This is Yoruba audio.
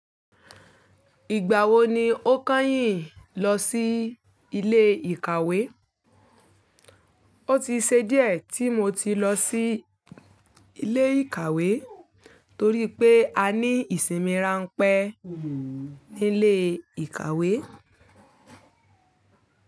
Ìgbà wo ni o kányìn lọ sí ilé ìkàwé? O ti ṣe díẹ̀ tí mo ti lọ sí ilé ìkàwé torí pé a ní ìsinmi rán pẹ́ ní ilé ìkàwé.